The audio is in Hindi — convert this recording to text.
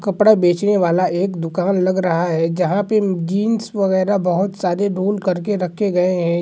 कपड़ा बेचने वाला एक दुकान लग रहा है जहाँ पे जीन्स वैगरह बहुत सारे रोल करके रखे गए हैं।